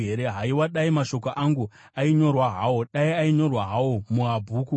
“Haiwa, dai mashoko angu ainyorwa hawo, dai ainyorwa hawo mubhuku,